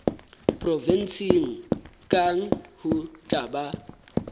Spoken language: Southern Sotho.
provenseng kang ho tla ba